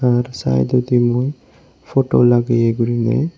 ar sydedi mui photo lageye gurine.